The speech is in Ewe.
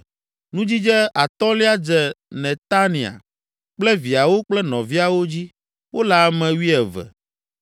Nudzidze atɔ̃lia dze Netania kple viawo kple nɔviawo dzi; wole ame wuieve.